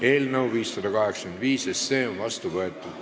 Eelnõu 585 on vastu võetud.